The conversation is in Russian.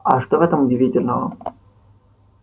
а что в этом удивительного